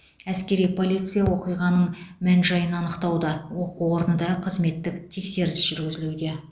әскери полиция оқиғаның мән жайын анықтауда оқу орны да қызметтік тексеріс жүргізулуде